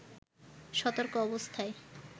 সতর্ক অবস্থায়